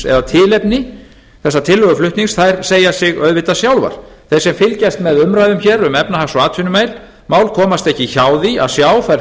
eða tilefni þessa tillöguflutnings segja sig auðvitað sjálfar þeir sem fylgjast með umræðum um efnahags og atvinnumál komast ekki hjá því að sjá þær